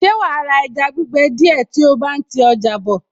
Ṣe wàá ra ẹja gbígbẹ díẹ̀ tí o bá ń ti ọjà bọ̀?